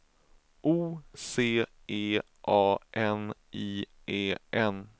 O C E A N I E N